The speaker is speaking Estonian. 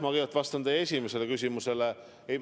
Ma kõigepealt vastan teie esimesele küsimusele.